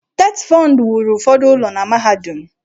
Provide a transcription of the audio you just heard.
TETFUND wuru ụfọdụ ụlọ na mahadum.